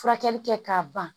Furakɛli kɛ k'a ban